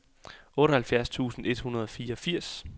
otteoghalvtreds tusind et hundrede og fireogfirs